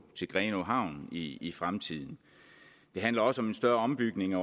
til grenaa havn i i fremtiden det handler også om en større ombygning